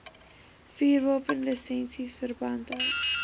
vuurwapenlisensies verband hou